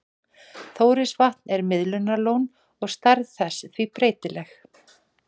Þórisvatn er miðlunarlón og stærð þess því breytileg.